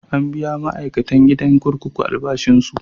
An biya ma'aikatan gidan kurkuku albashinsu.